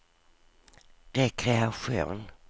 rekreation